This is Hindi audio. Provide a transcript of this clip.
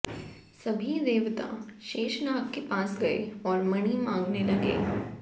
सभी देवता शेषनाग के पास गए और मणि मांगने लगे